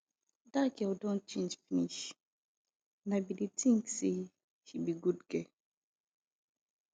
dat girl don change finish and i bin dey think say she be good girl